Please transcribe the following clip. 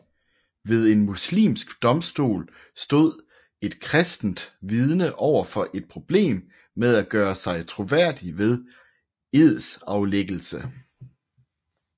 Ved en muslimsk domstol stod et kristent vidne overfor et problem med at gøre sig troværdig ved edsaflæggelse